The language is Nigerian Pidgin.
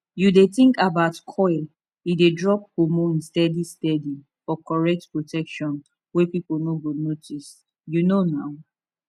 u dey think about coil e dey drop hormones steady steady for correct protection wey people no go notice u know na